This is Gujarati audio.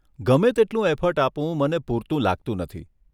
ગમે તેટલું એફર્ટ આપું મને પૂરતું લાગતું નથી.